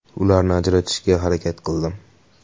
Ularni ajratishga harakat qildim.